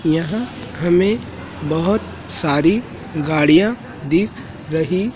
यहां हमें बहोत सारी गाड़ियां दिख रही--